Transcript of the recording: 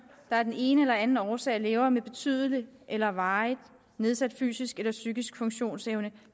der af den ene eller den anden årsag lever med betydelig eller varig nedsat fysisk eller psykisk funktionsevne